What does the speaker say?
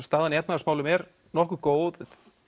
staðan í efnahagsmálum er nokkuð góð